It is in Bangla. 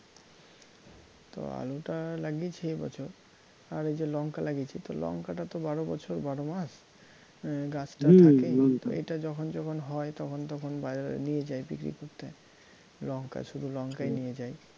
তো আলুটা লাগিয়েছি এবছর আর এই যে লঙ্কা লাগিয়েছি তো লঙ্কাটা তো বারো বছর বারোমাস তো এটা যখন যখন হয় তখন তখন বাজারে নিয়ে যাই বিক্রী করতে লঙ্কা শুধু লঙ্কাই নিয়ে যাই